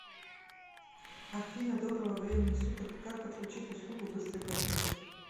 афина доброго времени суток как подключить услугу быстрый платеж